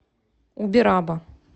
убераба